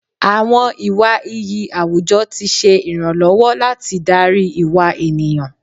Àwọn ìwà iyì àwùjọ ti ṣe ìrànlọ́wọ́ láti darí ìwà ènìyàn.